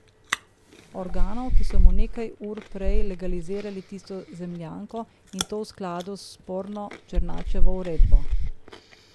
Organov, ki so mu nekaj ur prej legalizirali tisto zemljanko in to v skladu s sporno Černačevo uredbo.